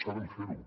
saben fer ho